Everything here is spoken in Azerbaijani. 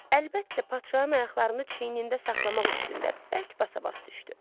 Əlbəttə, padşahın ayaqlarını çiynində saxlamaq üstündə bərk basa-bas düşdü.